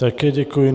Také děkuji.